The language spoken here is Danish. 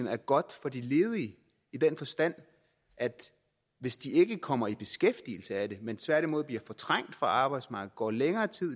er godt for de ledige i den forstand at hvis de ikke kommer i beskæftigelse af det men tværtimod bliver fortrængt fra arbejdsmarkedet går længere tid